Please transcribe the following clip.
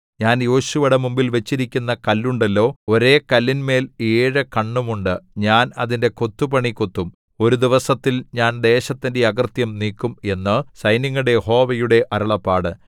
ഞാൻ യോശുവയുടെ മുമ്പിൽ വച്ചിരിക്കുന്ന കല്ലുണ്ടല്ലോ ഒരേ കല്ലിന്മേൽ ഏഴു കണ്ണും ഉണ്ട് ഞാൻ അതിന്റെ കൊത്തുപണി കൊത്തും ഒരു ദിവസത്തിൽ ഞാൻ ദേശത്തിന്റെ അകൃത്യം നീക്കും എന്നു സൈന്യങ്ങളുടെ യഹോവയുടെ അരുളപ്പാട്